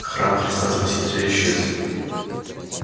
храм христа спасителя исчез